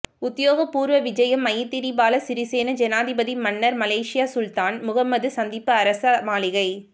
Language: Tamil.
உத்தியோகபூர்வ விஜயம் மைத்திரிபால சிறிசேன ஜனாதிபதி மன்னர் மலேஷியா சுல்தான் முஹம்மது சந்திப்பு அரச மாளிகை